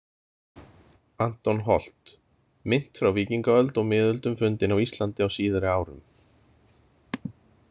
Anton Holt, „Mynt frá víkingaöld og miðöldum fundin á Íslandi á síðari árum.“